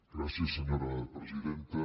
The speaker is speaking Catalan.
gràcies senyora presidenta